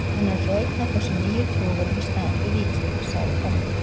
Hann er að fá einn af þessum nýju togurum í staðinn fyrir Víking, sagði pabbi.